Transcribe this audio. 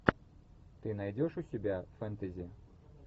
ты найдешь у себя фэнтези